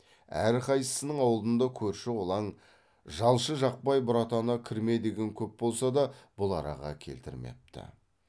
әрқайсысының алдында көрші қолаң жалшы жақпай бұратана кірме деген көп болса да бұл араға келтірмепті